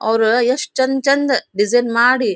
ಅವ್ರು ಎಷ್ಟು ಚಂದ್ ಚಂದ್ ಡಿಸೈನ್ ಮಾಡಿ--